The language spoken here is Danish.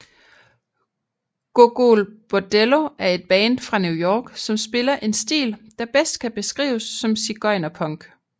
Gogol Bordello er et band fra New York som spiller en stil der bedst kan beskrives som sigøjnerpunk